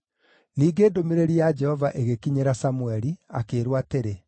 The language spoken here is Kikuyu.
Ningĩ ndũmĩrĩri ya Jehova ĩgĩkinyĩra Samũeli, akĩĩrwo atĩrĩ,